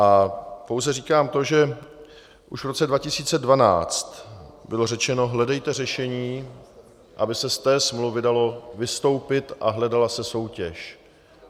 A pouze říkám to, že už v roce 2012 bylo řečeno: hledejte řešení, aby se z té smlouvy dalo vystoupit a hledala se soutěž.